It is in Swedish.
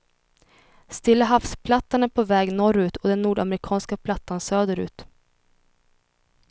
Stilla havsplattan är på väg norrut och den nordamerikanska plattan söderut.